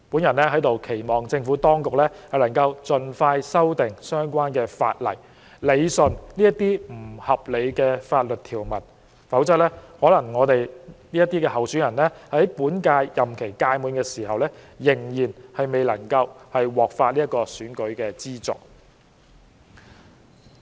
我期望政府當局盡快修訂相關法例，理順這些不合理的法律條文，否則，在本屆立法會任期屆滿時，我們這些候選人可能也還未獲發選舉資助。